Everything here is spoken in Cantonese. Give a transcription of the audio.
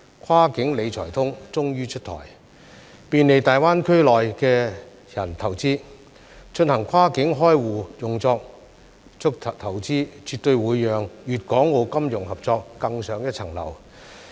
"跨境理財通"終於出台，便利大灣區內的人投資，進行跨境開戶用作投資，絕對會讓粤港澳金融合作更上一層樓。